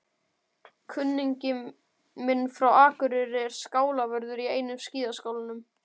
Kunningi minn frá Akureyri er skálavörður í einum skíðaskálanum.